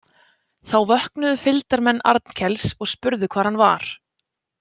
Þá vöknuðu fylgdarmenn Arnkels og spurðu hvar hann var.